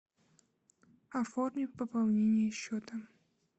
оформи пополнение счета